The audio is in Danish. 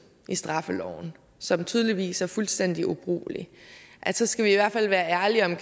i straffeloven som tydeligvis er fuldstændig ubrugelig så skal vi i hvert fald være ærlige om